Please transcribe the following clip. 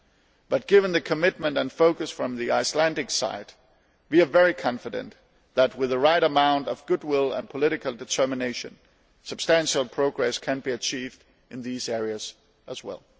However, given the commitment and focus from the Icelandic side, we are very confident that, with the right amount of goodwill and political determination, substantial progress can be achieved in these areas as well.